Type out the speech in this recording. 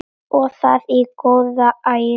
Og það í góðæri!